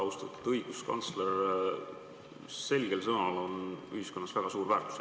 Austatud õiguskantsler, selgel sõnal on ühiskonnas väga suur väärtus.